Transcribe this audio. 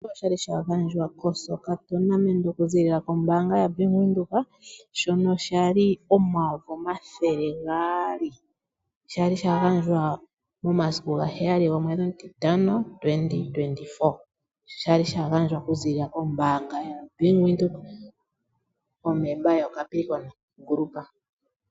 Oshimaliwa shono sha li shagandjwa komaudhano getanga oku ziilila kombaanga yaBank Windhoek, shono sha li omayovi omathele gaali shagandjwa momasiku gaheyali omwedhi omutitano 2024.Osha li shagandjwa oku ziilila kombaanga yaBank Windhoek oshilyo shongundu yoCapricorn.